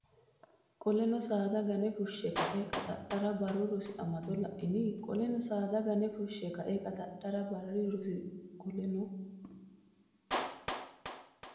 Qoleno saada gane fushshe kae qaxxadhara Barru Rosi Amado la ini Qoleno saada gane fushshe kae qaxxadhara Barru Rosi Qoleno.